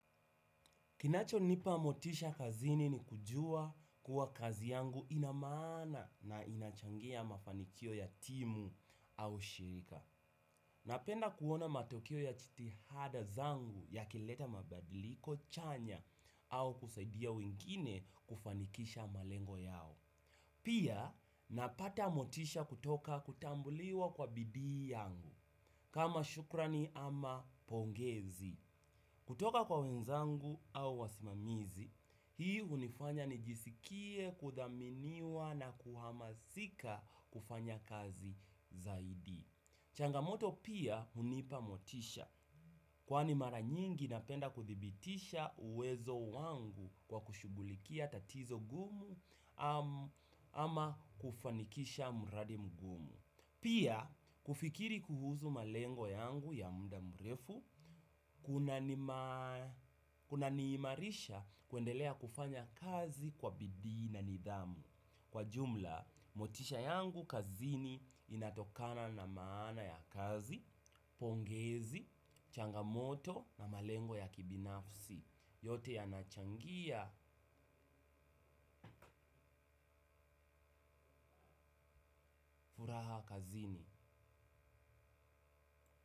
Kinacho nipa motisha kazini ni kujua kuwa kazi yangu ina maana na inachangia mafanikio ya timu au shirika. Napenda kuona matokeo ya jitihada zangu yakileta mabadiliko chanya au kusaidia wengine kufanikisha malengo yao. Pia napata motisha kutoka kutambuliwa kwa bidii yangu kama shukrani ama pongezi. Kutoka kwa wenzangu au wasimamizi, hii hunifanya nijisikie, kuthaminiwa na kuhamasika kufanya kazi zaidi. Changamoto pia hunipa motisha. Kwani mara nyingi napenda kuthibitisha uwezo wangu kwa kushughulikia tatizo gumu ama kufanikisha mradi mgumu. Pia, kufikiri kuhusu malengo yangu ya muda mrefu, kuna niimarisha kuendelea kufanya kazi kwa bidii na nidhamu. Kwa jumla, motisha yangu kazini inatokana na maana ya kazi, pongezi, changamoto na malengo ya kibinafsi. Yote yanachangia furaha kazini.